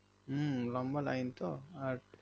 হুম লম্বা line তো আর